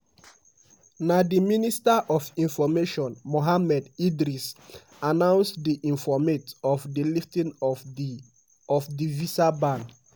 na di minister of information mohammed idris announce di informate of di lifting of di of di visa ban.